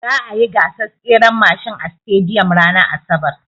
Za'a yi gasar tseren mashin a sitadiyom ranar asabar.